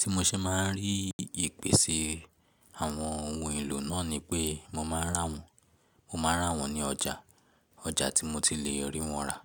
Tí mo ṣe máa ń rí ìpèsè àwọn ohun èlò náà ni pé mo máa rà wọ́n, mo máa rà wọ́n ní ọjà, ọjà tí mo ti le rí wọn rà.